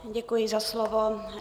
Děkuji za slovo.